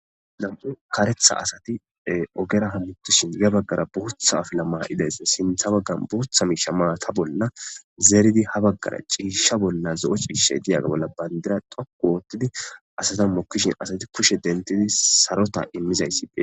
Haa missilezanni kareththa ee ogera hamutishshi yaa bagara boththa afala mayidayissa sinththa baganni boththa mishsha mata bolla zeriddi haa bagara cishsha bolla zo'o cishshayi diyaga bolla baniddira dhoqqu oththidi asata mokishshin asati kushshe deniththidi sarota immizayissa betees.